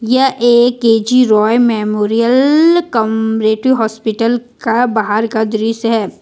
यह एक K G Roy memorial cooperative hospital का बाहर का दृश्य है।